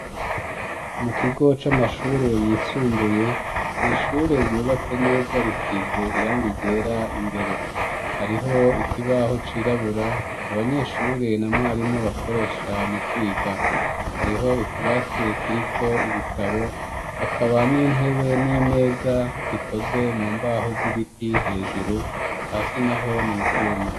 Mu kigo c'amashure yisumbuye n'ishure ryubatse neza risize irangi ryera, imbere hariho ikibaho c'irabura abanyeshure na mwarimu bakoresha mu kwiga, hariho utubati turiko ibitabo, hakaba n'intebe n'imeza zikoze mu mbaho z'ibiti hejuru, hasi naho n'ivyuma.